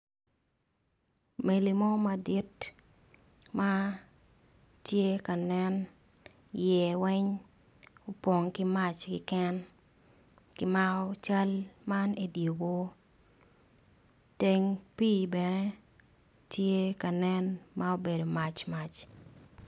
Mego mo madit matye ka nen i ye weng opong ki mac keken kimako cal man i dyer wor teng pi bene tye ka nen ma obedo mac mac.